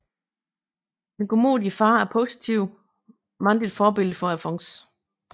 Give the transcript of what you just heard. Den godmodige far er et positivt mandligt forbillede for Alfons